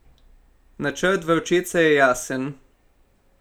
Načrt Vročice je jasen.